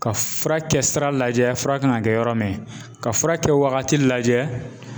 Ka fura kɛ sira lajɛ fura kan ka kɛ yɔrɔ min ka fura kɛ wagati lajɛ